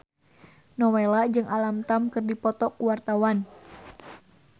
Nowela jeung Alam Tam keur dipoto ku wartawan